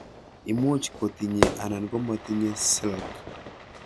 Imuch kotinye anan komatinye silks